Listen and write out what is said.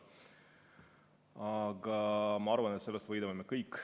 Aga ma arvan, et sellest võidame meie kõik.